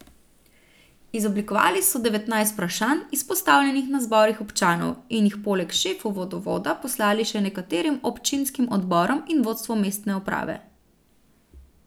Izoblikovali so devetnajst vprašanj, izpostavljenih na zborih občanov, in jih poleg šefu vodovoda poslali še nekaterim občinskim odborom in vodstvu mestne uprave.